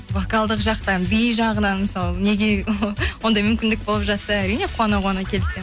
вокалдық жақтан би жағынан мысалы неге ондай мүмкіндік болып жатса әрине қуана қуана келісемін